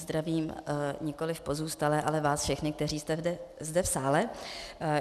Zdravím nikoliv pozůstalé, ale vás všechny, kteří jste zde v sále.